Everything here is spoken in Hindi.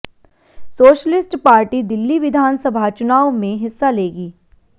सोशलिस्ट पार्टी दिल्ली विधानसभा चुनाव में हिस्सा लेगी